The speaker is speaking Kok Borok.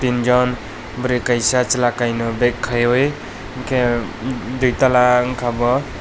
teenjon bwri kaisa chwla kainui back kaiui enke duitala unka bo.